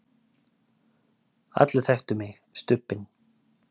allir þekktu mig, Stubbinn.